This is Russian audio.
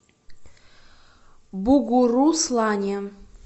бугуруслане